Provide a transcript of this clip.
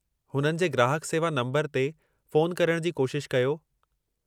हुननि जे ग्राहकु सेवा नंबरु ते फ़ोन करणु जी कोशिश कयो।